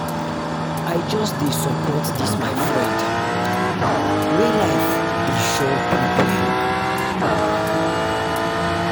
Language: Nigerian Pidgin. i just dey support dis my friend wey life dey show pepper.